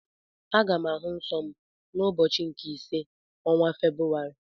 Aga m ahụ nsọ m n'ụbọchị nke ise ọnwa Febrụwarị.